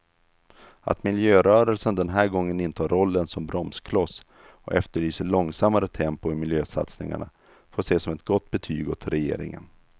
Att miljörörelsen den här gången intar rollen som bromskloss och efterlyser långsammare tempo i miljösatsningarna får ses som ett gott betyg åt regeringen.